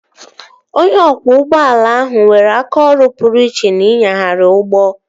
Onye ọkwọ ụgbọala ahụ nwere aka ọrụ pụrụ iche n'ịnyagharị ụgbọ